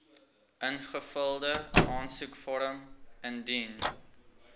ingevulde aansoekvorm indien